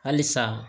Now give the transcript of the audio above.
Halisa